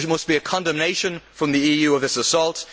There must be a condemnation from the EU of this assault.